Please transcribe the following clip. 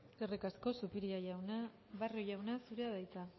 eskerrik asko zupiria jauna barrio jauna zurea da hitza